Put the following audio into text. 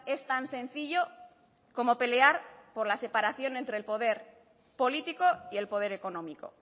es tan sencillo como pelear por la separación entre el poder político y el poder económico